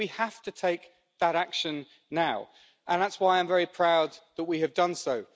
We have to take that action now and that's why I'm very proud that we have done so.